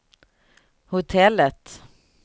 hotellet